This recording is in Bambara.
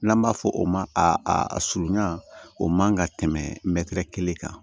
N'an b'a fɔ o ma a surunya o man ka tɛmɛ mɛtiri kelen kan